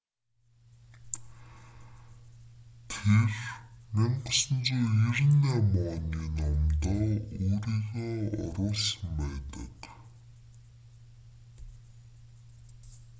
тэр 1998 оны номдоо өөрийгөө оруулсан байдаг